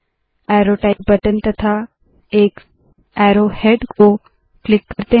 अरो type button तथा एक arrow head को क्लिक करते है